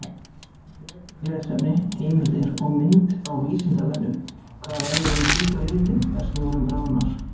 Frekara lesefni, heimildir og mynd á Vísindavefnum: Hvað verður um hvíta litinn þegar snjórinn bráðnar?